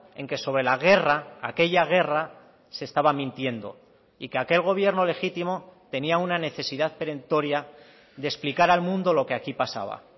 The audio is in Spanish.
en que sobre la guerra aquella guerra se estaba mintiendo y que aquel gobierno legítimo tenía una necesidad perentoria de explicar al mundo lo que aquí pasaba